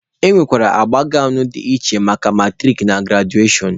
E nwere agba gawnụ dị iche maka maturik na grajuashọn.